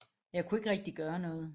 Jeg kunne ikke rigtig gøre noget